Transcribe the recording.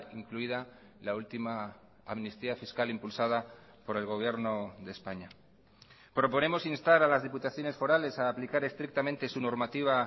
incluida la última amnistía fiscal impulsada por el gobierno de españa proponemos instar a las diputaciones forales a aplicar estrictamente su normativa